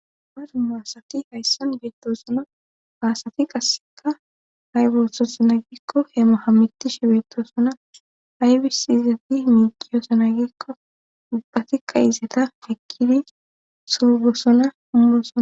Maru maasati hayssan beettoosona baasati qasseka hayboththosona gikko heemohamitishe beettoosona haybisi izati miiqiyosona gikko ubbatikka izeta feqkidi soogosona ummosona